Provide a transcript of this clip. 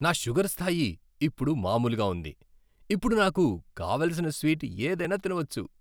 నా షుగర్ స్థాయి ఇప్పుడు మామూలుగా ఉంది, ఇప్పుడు నాకు కావలసిన స్వీట్ ఏదైనా తినవచ్చు